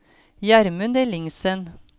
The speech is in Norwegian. Gjermund Ellingsen